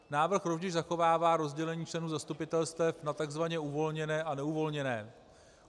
Návrh rovněž zachovává rozdělení členů zastupitelstev na tzv. uvolněné a neuvolněné.